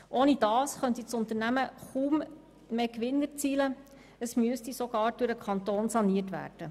Ohne diese Bereiche könnte das Unternehmen kaum mehr Gewinn erzielen und müsste sogar durch den Kanton saniert werden.